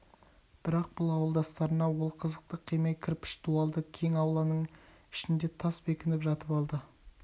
бірақ бұл ауылдастарына ол қызықты қимай кірпіш дуалды кең ауланың ішінде тас бекініп жатып алды